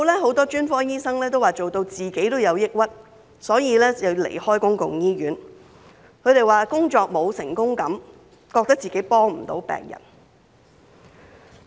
很多專科醫生都說自己也做到抑鬱，所以要離開公營醫院，他們說工作沒有成功感，覺得自己幫不了病人。